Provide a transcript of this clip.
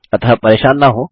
अतः परेशान न हों